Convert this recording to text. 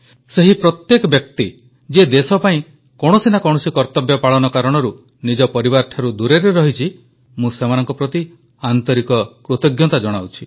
ସେହି ପ୍ରତ୍ୟେକ ବ୍ୟକ୍ତି ଯିଏ ଦେଶ ପାଇଁ କୌଣସି ନା କୌଣସି କର୍ତ୍ତବ୍ୟ ପାଳନ କାରଣରୁ ନିଜ ପରିବାରଠାରୁ ଦୂରରେ ରହିଛି ମୁଁ ସେମାନଙ୍କ ପ୍ରତି ଆନ୍ତରିକ କୃତଜ୍ଞତା ଜଣାଉଛି